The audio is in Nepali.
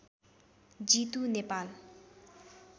जीतु नेपाल